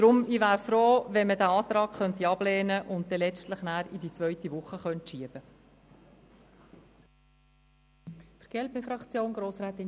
Deshalb wäre ich froh, wenn wir den Antrag des Präsidiums ablehnen und das Geschäft in die zweite Woche verschieben könnten.